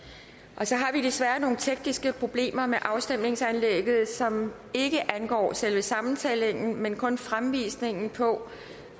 vi har desværre nogle tekniske problemer med afstemningsanlægget som ikke angår selve sammentællingen men kun fremvisningen på